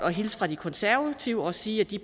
hilse fra de konservative og sige at de